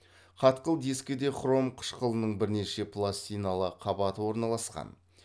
қатқыл дискіде хром қышқылының бірнеше пластиналы қабаты орналасқан